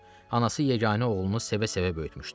Anası yeganə oğlunu sevə-sevə böyütmüşdü.